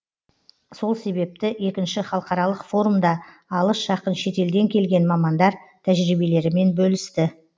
сол себепті екінші халықаралық форумда алыс жақын шетелден келген мамандар тәжірибелерімен бөлісті